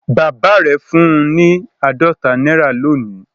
Bàbá rẹ̀ fún un ní àádọ́ta náírà lónìí